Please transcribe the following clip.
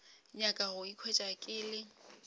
nyaka go ikhwetša ke le